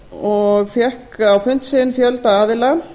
og fékk á fund sinn fjölda aðila